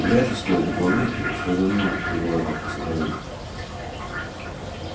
вряд ли стоит добавлять что я давно не была так расстроена